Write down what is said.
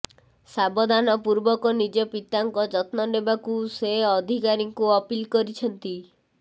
ସାବଧାନପୂର୍ବକ ନିଜ ପିତାଙ୍କ ଯତ୍ନ ନେବାକୁ ସେ ଅଧିକାରୀଙ୍କୁ ଅପିଲ୍ କରିଛନ୍ତି